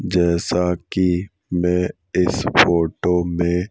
जैसा कि मैं इस फोटो में--